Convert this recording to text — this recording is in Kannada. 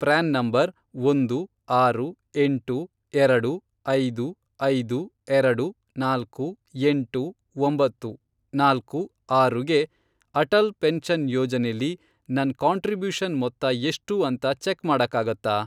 ಪ್ರ್ಯಾನ್ ನಂಬರ್, ಒಂದು, ಆರು, ಎಂಟು, ಎರಡು, ಐದು, ಐದು, ಎರಡು, ನಾಲ್ಕು, ಎಂಟು, ಒಂಬತ್ತು, ನಾಲ್ಕು, ಆರು, ಗೆ ಅಟಲ್ ಪೆನ್ಷನ್ ಯೋಜನೆಲಿ ನನ್ ಕಾಂಟ್ರಿಬ್ಯೂಷನ್ ಮೊತ್ತ ಎಷ್ಟು ಅಂತ ಚೆಕ್ ಮಾಡಕ್ಕಾಗತ್ತಾ?